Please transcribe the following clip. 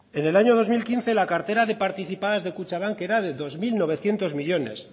en el año dos mil quince la cartera de participadas de kutxabank era de dos mil novecientos millónes